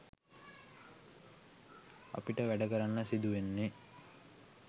අපිට වැඩ කරන්න සිදු වෙන්නෙ